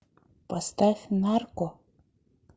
поставь нарко